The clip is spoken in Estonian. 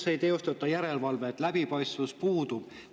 Ei teostata järelevalvet, läbipaistvus puudub.